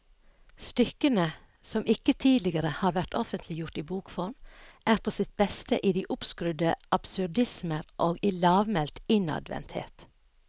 Stykkene, som ikke tidligere har vært offentliggjort i bokform, er på sitt beste i de oppskrudde absurdismer og i lavmælt innadvendthet.